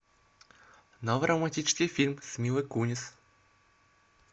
новый романтический фильм с милой кунис